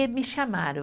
E me chamaram.